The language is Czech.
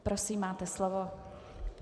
Prosím, máte slovo.